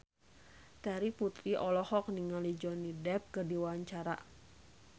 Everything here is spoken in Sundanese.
Terry Putri olohok ningali Johnny Depp keur diwawancara